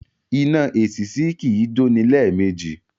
Iná èsìsì kì í jóni lẹ́ẹ̀mejì